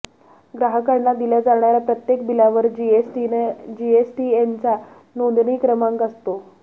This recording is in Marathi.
ग्राहकांना दिल्या जाणाऱ्या प्रत्येक बिलावर जीएसटीएनचा नोंदणी क्रमांक असतो